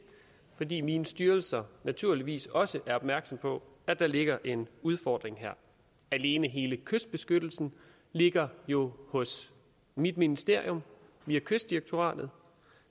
fordi mine styrelser naturligvis også er opmærksomme på at der ligger en udfordring her alene hele kystbeskyttelsen ligger jo hos mit ministerium via kystdirektoratet